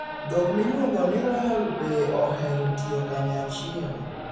Dhok miluongo ni royal bee ohero tiyo kanyachiel.